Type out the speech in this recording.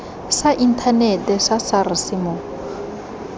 sa inthanete sa sars mo